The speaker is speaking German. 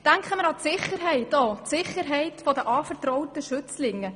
Hinzu kommt die Frage der Sicherheit der anvertrauten Schützlinge.